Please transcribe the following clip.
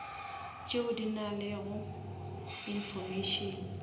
tšeo di nalego information